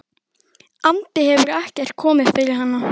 andi hefur ekkert komið fyrir hana.